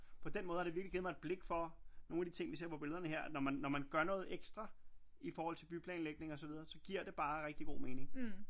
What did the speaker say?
På den måde har det virkelig givet meget et blik for nogle af de ting vi ser på billederne her når man gør noget ekstra i forhold til byplanlægning og så videre så giver det bare rigtig god mening